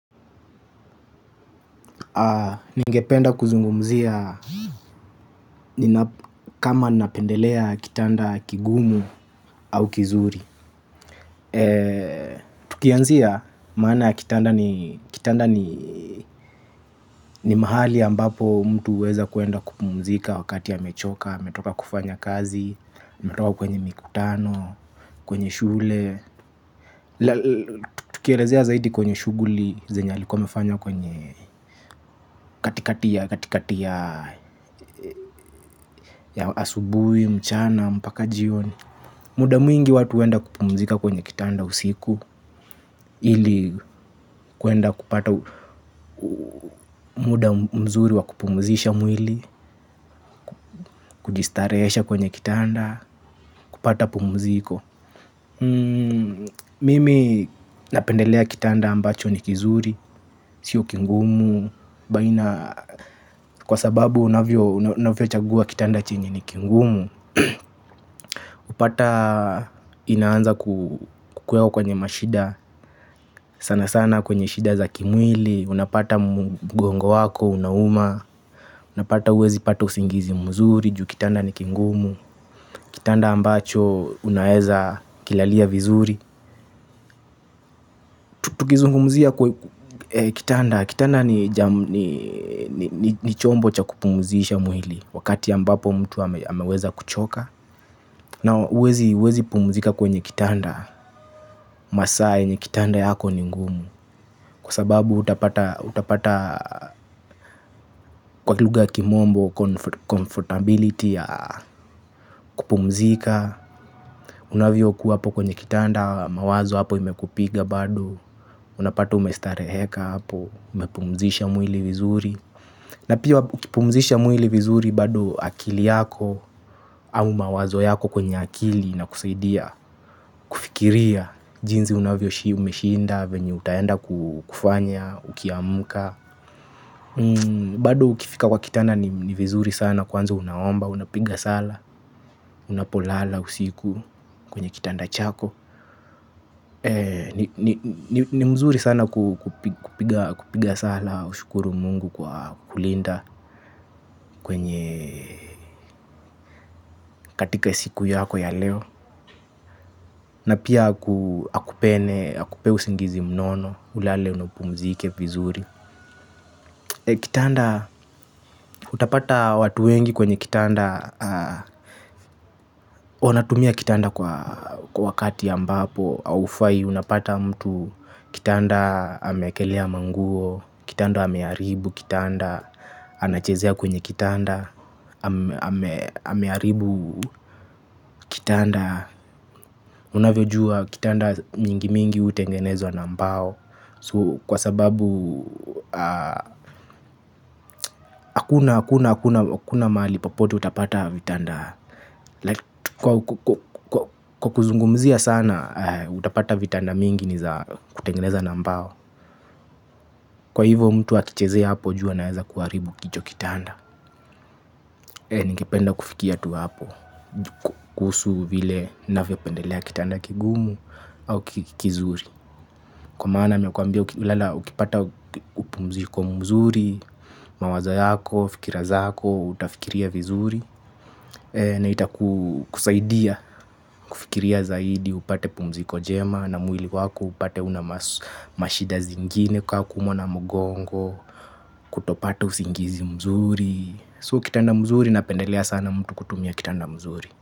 Ningependa kuzungumzia kama napendelea kitanda kigumu au kizuri. Tukianzia maana ya kitanda ni mahali ambapo mtu uweza kuenda kupumzika wakati ya amechoka, ametoka kufanya kazi, ametoka kwenye mikutano, kwenye shule. Tukielezea zaidi kwenye shuguli zenye alikua amefanya kwenye katikati ya asubui, mchana, mpaka jioni. Muda mwingi watu wenda kupumzika kwenye kitanda usiku. Ili kuenda kupata muda mzuri wa kupumzisha mwili kujistareesha kwenye kitanda, kupata pumuziko. Mimi napendelea kitanda ambacho ni kizuri. Sio kingumu baina. Kwa sababu unavyo unavyo chagua kitanda chenye ni kingumu. Upata inaanza kukueo kwenye mashida. Sana sana kwenye shida za kimwili. Unapata mguongo wako, unauma. Unapata uwezi pata usingizi mzuri. Ju kitanda ni kingumu. Kitanda ambacho unaeza kilalia vizuri. Tutukizungumzia kwa kitanda kitanda ni chombo chakupumuzisha mwili. Wakati ambapo mtu ameweza kuchoka na uwezi pumzika kwenye kitanda. Masaa enye kitanda yako ni ngumu. Kwa sababu utapata kwa kiluga kimombo Comfortability ya kupumzika. Unavyo kuwa apo kwenye kitanda mawazo hapo imekupiga bado. Unapata umestareheka hapo. Umepumzisha mwili vizuri. Na piwa ukipumzisha mwili vizuri bado akili yako. Au mawazo yako kwenye akili na kusaidia. Fikiria, jinzi unavyo shi umeshinda, venye utayenda kufanya, ukiamuka. Bado ukifika kwa kitanda ni vizuri sana kwanza unaomba, unapiga sala. Unapolala usiku kwenye kitanda chako. Ni mzuri sana kupiga sala ushukuru mungu kwa kulinda kwenye katika siku yako ya leo. Na pia akupene, akupe usingizi mnono, ulale na upumzike vizuri. Kitanda, utapata watu wengi kwenye kitanda. Wanatumia kitanda kwa wakati ambapo aufai, unapata mtu. Kitanda ameekelea manguo. Kitanda hamearibu kitanda. Anachezea kwenye kitanda. Amearibu kitanda. Unavyojua kitanda mingi mingi utengenezwa na mbao. Kwa sababu hakuna mali popote utapata vitanda. Kwa kuzungumzia sana, utapata vitanda mingi ni za kutengeneza na mbao. Kwa hivyo mtu akichezea hapo juu anaeza kuwaribu kicho kitanda. Ningependa kufikia tu hapo. Kuhusu vile navyo pendelea kitanda kigumu au kizuri. Kwa maana nimekuambia ukipata upumziko mzuri. Mawazo yako, fikira zako, utafikiria vizuri. Na itakusaidia fikiria zaidi upate pumziko jema na mwili wako upate una mashida zingine ka kuumwa na mugongo. Kutopata usingizi mzuri So kitanda mzuri na pendelea sana mtu kutumia kitanda mzuri.